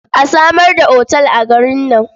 A samar da otal a garin nan.